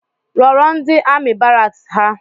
Rọrọ ndi amị baraks ha